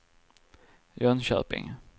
Jönköping